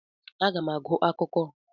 Aga m agụ akwụkwọ akụkọ taa.